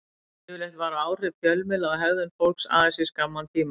Yfirleitt vara áhrif fjölmiðla á hegðun fólks aðeins í skamman tíma.